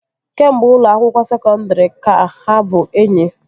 kemgbe ụlọ akwụkwọ sekondri ka ha bụ enyi